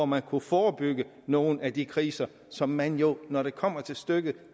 man kunne forebygge nogle af de kriser som man jo når det kommer til stykket